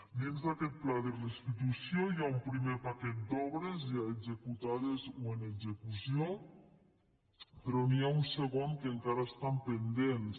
dins d’aquest pla de restitució hi ha un primer paquet d’obres ja executades o en execució però n’hi ha un segon que encara estan pendents